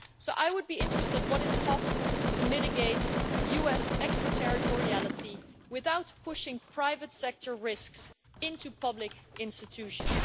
I would be interested in what is possible to mitigate US extra territoriality without pushing private sector risks into public institutions.